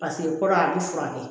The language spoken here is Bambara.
paseke kɔrɔ a bi furakɛ